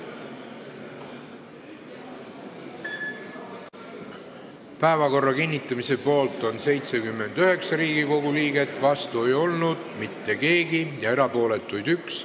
Hääletustulemused Päevakorra kinnitamise poolt on 79 Riigikogu liiget, vastu ei olnud mitte keegi ja erapooletuid on 1.